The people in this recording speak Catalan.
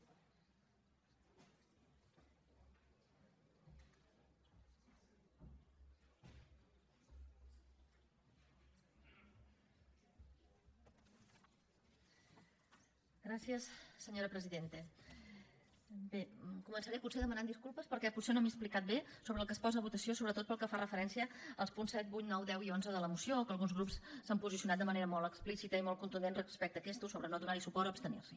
començaré potser demanant disculpes perquè potser no m’he explicat bé sobre el que es posa a votació sobretot pel que fa referència als punts set vuit nou deu i onze de la moció que alguns grups s’han posicionat de manera molt explícita i molt contundent respecte a aquests sobre no donar hi suport o abstenir s’hi